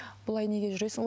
бұлай неге жүресің